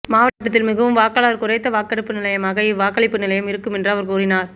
மாவட்டத்தில் மிகவும் வாக்காளர் குறைந்த வாக்கெடுப்பு நிலையமாக இவ் வாக்களிப்பு நிலையம் இருக்கும் என்றும் அவர் கூறினார்